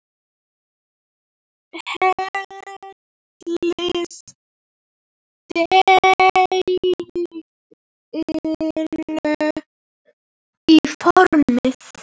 Hellið deiginu í formið.